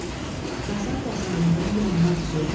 Qazan-qazanların yanına düzüldü.